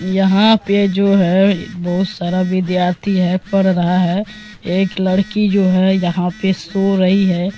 यहाँ पे जो हैं बहुत सारा विद्यार्थी हैं पढ़ रहा हैं एक लड़की जो है यहाँ पे सो रही हैं।